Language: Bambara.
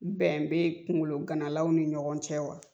ɛn bɛ kungologanalaw ni ɲɔgɔn cɛ wa?